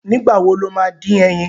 Nìgbà wo lo ma dín ẹyin?